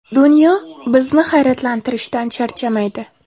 Dunyo bizni hayratlantirishdan charchamaydi.